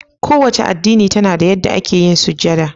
Kowa ce addini tana da yadda ake yin sujada